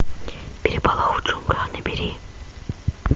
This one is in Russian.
переполох в джунглях набери